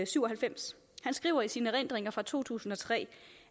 syv og halvfems han skriver i sine erindringer fra to tusind og tre